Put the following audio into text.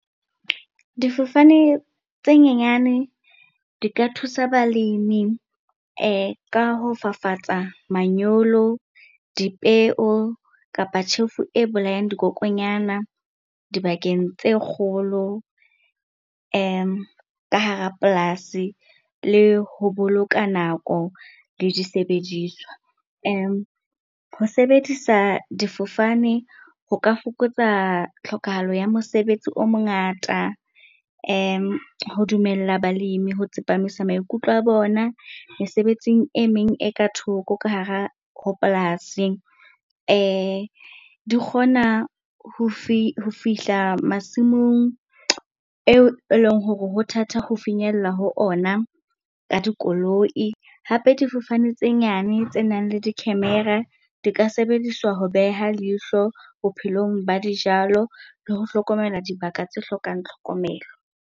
Difofane tse nyenyane di ka thusa balimi ka ho fafatsa manyolo, dipeo kapa tjhefu e bolayang dikokonyana dibakeng tse kgolo ka hara polasi le ho boloka nako le disebediswa. Ho sebedisa difofane ho ka fokotsa tlhokahalo ya mosebetsi o mongata ho dumella balimi ho tsepamisa maikutlo a bona mesebetsing e meng e ka thoko ka hara ho polasing. Di kgona ho ho fihla masimong eo eleng hore ho thata ho finyella ho ona ka dikoloi. Hape, difofane tse nyane tse nang le di-camera di ka sebediswa ho beha leihlo bophelong ba dijalo le ho hlokomela dibaka tse hlokang tlhokomelo.